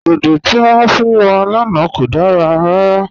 Dòdò tí wọn fún wa lánà kò dára rárà.